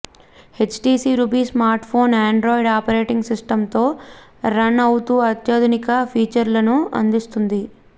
HTC Ruby smart phone Android operating సిస్టమ్తో run అవుతూ అత్యాధునిక ఫీచర్స్ని అందిస్తుంది